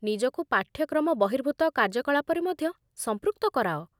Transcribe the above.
ନିଜକୁ ପାଠ୍ୟକ୍ରମ ବହିର୍ଭୂତ କାର୍ଯ୍ୟକଳାପରେ ମଧ୍ୟ ସଂପୃକ୍ତ କରାଅ